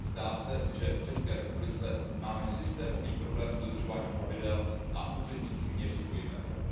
Zdá se, že v České republice máme systémový problém s dodržováním pravidel a úředníci měří dvojím metrem.